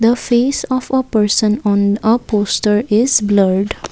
a face of a person on a poster is blurred.